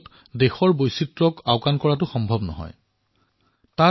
শিল্পাকৰ সকলোতো আছেই লগতে আমাৰ খাৱনশোৱনৰো বৈচিত্ৰতা আছে